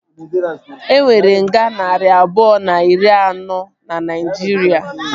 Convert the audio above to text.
E nwere nga narị abụọ na iri anọ na Naijiria